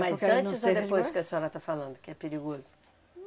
Mas antes ou depois que a senhora está falando que é perigoso?